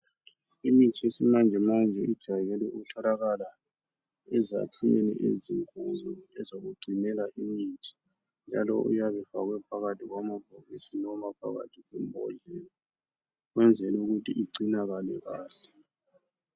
Imithi yesimanjemanje ijayele ukutholakala ezakhiweni ezinkulu ezokugcinela imithi njalo iyabe ifakwe phakathi kwamabhokisi noma phakathi kwembodlela ukwenzela ukuthi igcinakale kahle.